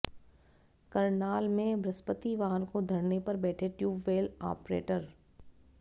करनाल में बृहस्पतिवार को धरने पर बैठे ट्यूबवैल आपरेटर